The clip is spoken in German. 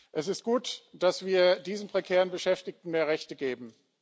Es ist gut, dass wir diesen prekär Beschäftigten mehr Rechte geben.